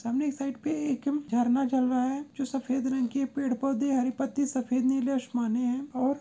सामने इस साइड पे एक झरना ज़र रहा है जो सफेद रंग के पेड़ पौध हरी पत्ती सफेद नीले आशमाने है और--